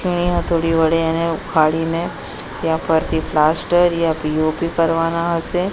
થોડી વડે એને ઉખાડીને ત્યાં ફરથી પ્લાસ્ટર યા પી_ઓ_પી કરવાના હસે.